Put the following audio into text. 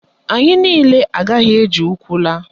Anyị niile agaghị eji ụkwụ laa.